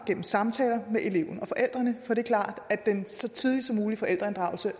gennem samtaler med eleven og forældrene for det er klart at en så tidlig forældreinddragelse